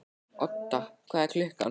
Odda, hvað er klukkan?